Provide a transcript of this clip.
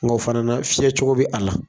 Nga o fana fiyɛ cogo bɛ a la.